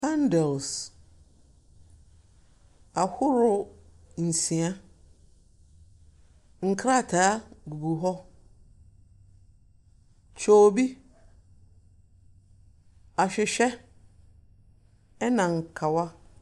Bundles ahodoɔ nsia, nkrataa gugu hɔ. Kyoobi, ahwehwɛ, ɛnna nkawa.